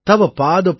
वन्दित दिव्य रूपम् |